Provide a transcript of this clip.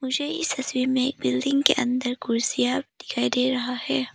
मुझे इस तस्वीर में एक बिल्डिंग के अंदर कुर्सियां दिखाई दे रहा है।